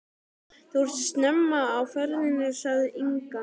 Þú ert snemma á ferðinni, sagði Inga.